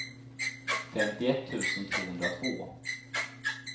femtioett tusen tvåhundratvå